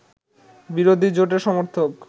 বিরোধী জোটের সমর্থক